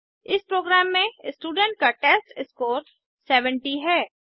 इस प्रोग्राम में स्टूडेंट का टेस्टस्कोर 70 है